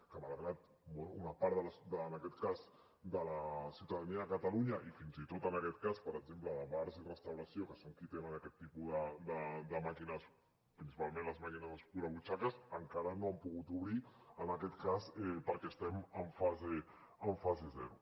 que malgrat una part de la ciutadania de catalunya i fins i tot en aquest cas per exemple de bars i restauració que són qui tenen aquest tipus de màquines principalment les màquines escurabutxaques encara no han pogut obrir perquè estem en fase zero